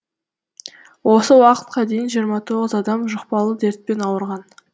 осы уақытқа дейін жиырма тоғыз адам жұқпалы дертпен ауырған